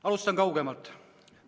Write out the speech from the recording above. Alustan kaugemalt.